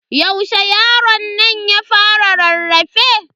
Yaushe yaronnan ya fara rarrafe?